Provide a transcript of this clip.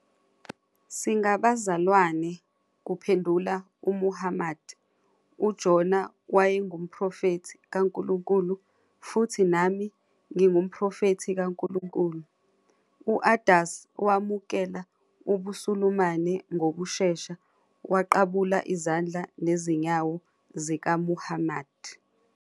"Singabazalwane," kuphendula uMuhammad." UJona wayengumProfethi kaNkulunkulu futhi nami, ngingumProfethi kaNkulunkulu." U-Addas wamukela ubuSulumane ngokushesha waqabula izandla nezinyawo zikaMuhammad.